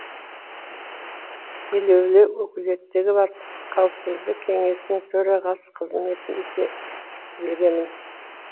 елеулі өкілеттігі бар қауіпсіздік кеңесінің төрағасы қызмет ете беремін